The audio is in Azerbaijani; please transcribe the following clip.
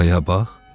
Arxaya bax.